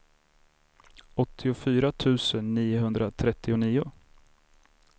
åttiofyra tusen niohundratrettionio